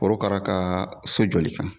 Korokara kaa so jɔli kan